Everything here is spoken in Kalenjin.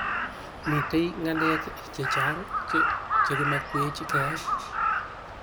mito ngalek chechang che kimakwech keyai